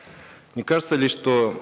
не кажется ли что